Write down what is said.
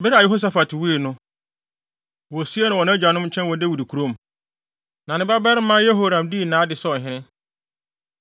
Bere a Yehosafat wui no, wosiee no wɔ nʼagyanom nkyɛn wɔ Dawid kurom. Na ne babarima Yehoram dii nʼade sɛ ɔhene.